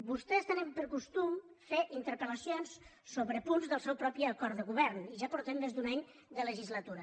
vostès tenen per costum fer interpel·lacions sobre punts del seu propi acord de govern i ja portem més d’un any de legislatura